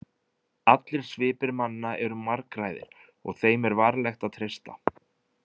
Allir svipir manna eru margræðir og þeim er varlegt að treysta.